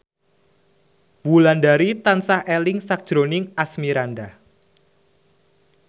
Wulandari tansah eling sakjroning Asmirandah